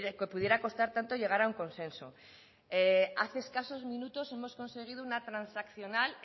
que pudiera costar tanto llegar a un consenso hace escasos minutos hemos conseguido una transaccional